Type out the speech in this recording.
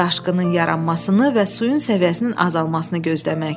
Daşqının yaranmasını və suyun səviyyəsinin azalmasını gözləmək.